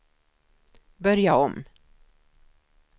börja om